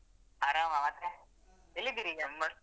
ಆರಾಮ ಮತ್ತೆ ಎಲ್ಲಿದ್ದೀರೀಗ ?